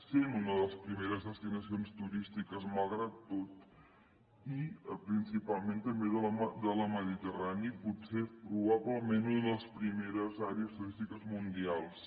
sent una de les primeres destinacions turístiques malgrat tot i principalment també de la mediterrània i potser probablement una de les primeres àrees turístiques mundials